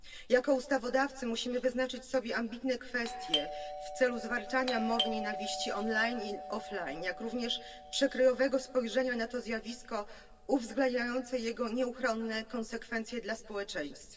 Jako ustawodawcy musimy wyznaczyć sobie ambitne cele w zakresie zwalczania mowy nienawiści online i offline, jak również przekrojowego spojrzenia na to zjawisko, uwzględniającego jego nieuchronne konsekwencje dla społeczeństwa.